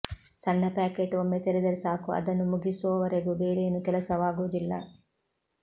ಸಣ್ಣ ಪ್ಯಾಕೆಟ್ ಒಮ್ಮೆ ತೆರೆದರೆ ಸಾಕು ಅದನ್ನು ಮುಗಿಸೋವರೆಗೂ ಬೇರೇನೂ ಕೆಲಸವಾಗೋದಿಲ್ಲ